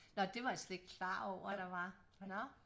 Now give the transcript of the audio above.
Nå det var jeg slet ikke klar over der var nå